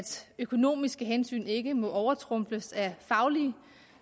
økonomiske hensyn ikke må overtrumfes af faglige